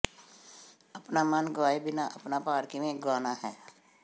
ਆਪਣਾ ਮਨ ਗਵਾਏ ਬਿਨਾਂ ਆਪਣਾ ਭਾਰ ਕਿਵੇਂ ਗੁਆਉਣਾ ਹੈ